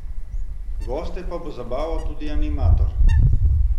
Goste pa bo zabaval tudi animator.